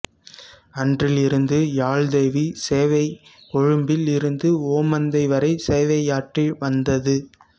அன்றில் இருந்து யாழ்தேவி சேவை கொழும்பில் இருந்து ஓமந்தை வரை சேவையாற்றி வந்தது